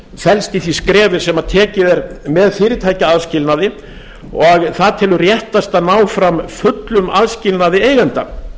felst í því skrefi sem tekið er með fyrirtækjaaðskilnaði og það telur réttast að ná fram fullum aðskilnaði eigenda